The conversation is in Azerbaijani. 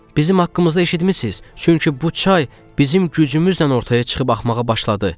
Bizim haqqımızda eşitmisiz, çünki bu çay bizim gücümüzlə ortaya çıxıb axmağa başladı.